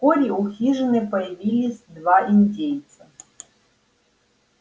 вскоре у хижины появились два индейца